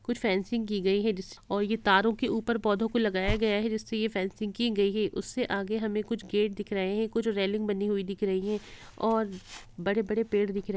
कुछ फेंसिंग की गयी है जिस और तारों के ऊपर पौधों को लगाया गया है जिससे यह फेंसिंग की गयी है उससे आगे हमें कुछ गेट दिख रहे हैं कुछ रेलिंग बनी हुई दिख रही हैं और बड़े-बड़े पेड़ दिख रहे हैं।